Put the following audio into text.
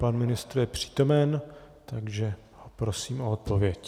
Pan ministr je přítomen, takže prosím o odpověď.